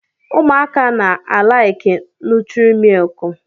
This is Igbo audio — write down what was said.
Ụmụaka na-alaịkị nụtrị mịlịkị